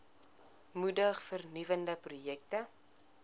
moedig vernuwende projekte